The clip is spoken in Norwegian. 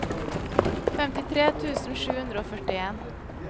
femtitre tusen sju hundre og førtien